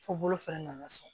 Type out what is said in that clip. Fo bolo fɛnɛ nana sɔn